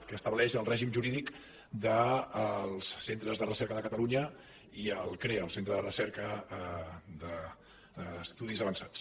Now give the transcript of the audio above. que estableix el règim jurídic dels centres de recerca de catalunya i a l’icrea el centre de recerca d’estudis avançats